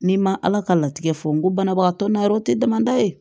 N'i ma ala ka latigɛ fɔ n ko banabagatɔ n'a yɔrɔ te damadan ye